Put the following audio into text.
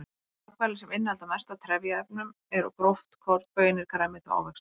Þau matvæli sem innihalda mest af trefjaefnum eru gróft korn, baunir, grænmeti og ávextir.